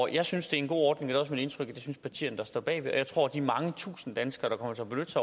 jeg synes det er en god ordning og også mit indtryk at partierne der står bag synes og jeg tror at de mange tusinde danskere